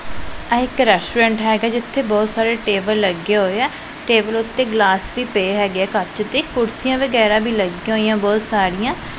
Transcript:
ਆਹ ਇੱਕ ਰੈਸਟੋਰੈਂਟ ਹੈਗਾ ਜਿੱਥੇ ਬਹੁਤ ਸਾਰੇ ਟੇਬਲ ਲੱਗੇ ਹੋਏ ਐ ਟੇਬਲ ਉਤੇ ਗਲਾਸ ਵੀ ਪਏ ਹੈਗੇ ਐ ਕੱਚ ਦੇ ਕੁਰਸੀਆਂ ਵਗੈਰਾ ਵੀ ਲੱਗੀਆਂ ਹੋਈਆਂ ਬਹੁਤ ਸਾਰੀਆਂ